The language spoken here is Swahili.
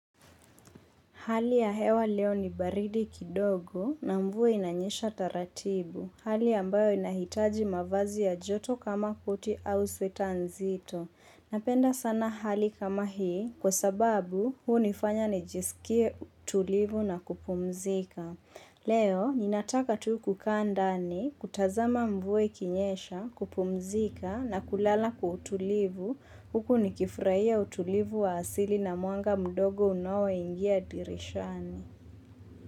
Hali ya hewa leo ni baridi kidogo na mvua inanyesha taratibu. Hali ambayo inahitaji mavazi ya joto kama koti au sweta nzito. Napenda sana hali kama hii kwa sababu hunifanya nijiskie utulivu na kupumzika. Leo ninataka tu kukaa ndani kutazama mvua ikinyesha, kupumzika na kulala kwa utulivu. Huku nikifurahia utulivu wa asili na mwanga mdogo unaoingia dirishani.